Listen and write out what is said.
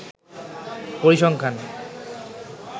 পরিসংখ্যান